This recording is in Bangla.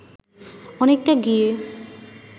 অনেকটা গিয়ে